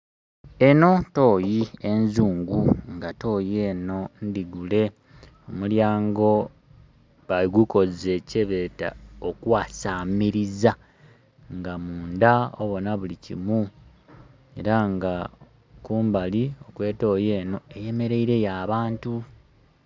Eno tooyi enzungu nga tooyi eno ndhigule, omulyango bagukoze kyebeta okwasamiriza nga munda obona buli kimu era nga kumbali kwetooyi eno eyemereire yo abantu